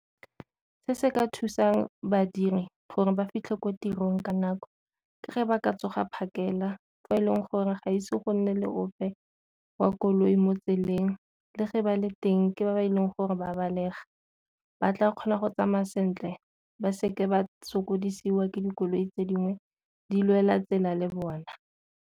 Se se ka thusang badiri gore ba fitlhe ko tirong ka nako ke fa ba ka tsoga phakela fa e leng gore ga ise go nne le ope wa koloi motseleng le fa ba le teng ke ba ba e leng gore ba belega, ba tla kgona go tsamaya sentle ba seke ba sokodisiwa ke dikoloi tse dingwe di lwela tsela le bona.